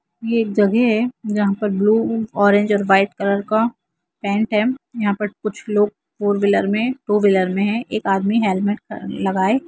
ये जगह है जहाँ पर ब्लू ऑरेंज और वाइट कलर का यहाँ पर कुछ लोग है टू व्हीलर मे टू व्हीलर मे है एक आदमी हेल्मेंट लगाए।